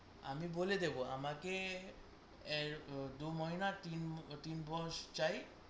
আমি বলে দেব আহ দু তিন বস চাই